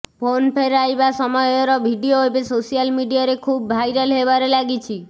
phone ଫେରାଇବା ସମୟର video ଏବେ ସୋସିଆଲ ମିଡିଆରେ ଖୁବ୍ ଭାଇରାଲ ହେବାରେ ଲାଗିଛି